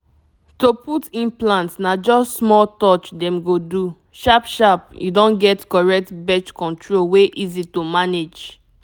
to put implant na just small touch dem go do — sharp-sharp you don get correct birth control wey easy to manage.